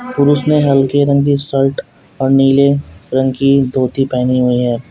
पुरुष ने हल्के रंग कि शर्ट और नीले रंग कि धोती पहनी हुई है।